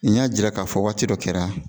N y'a jira k'a fɔ waati dɔ kɛra